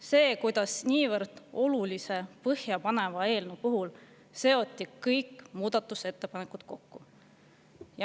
See, kuidas niivõrd olulise, põhjapaneva eelnõu puhul seoti kõik muudatusettepanekud kokku …